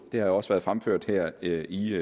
jo også været fremført her i